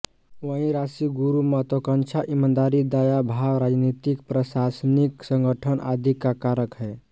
वहीं राशि गुरु महत्वाकांक्षा ईमानदारी दया भाव राजनीतिक प्रशासनिक संगठन आदि का कारक है